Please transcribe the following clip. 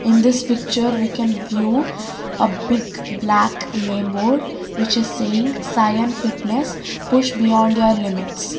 in this picture we can view a big black name board which is saying saiyan fitness push beyond your limits.